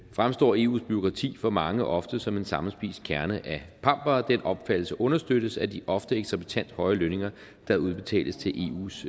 fremstår eus bureaukrati for mange ofte som en sammenspist kerne af pampere den opfattelse understøttes af de ofte eksorbitant høje lønninger der udbetales til eus